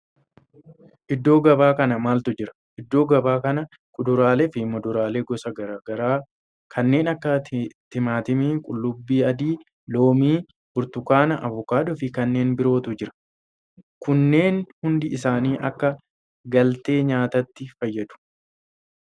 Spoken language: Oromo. Iddoo gabaa kana maaltu jira? Iddoo gabaa kana kuduraalee fi muduraalee gosa garaa garaa kanneen akka timaatima, qullubbii adii, loomii, burtukaana, avokaadoo fi kanneen birootu jira. Kunneen hundi isaanii akka galtee nyaatatti fayyadu.